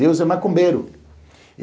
Deus é macumbeiro.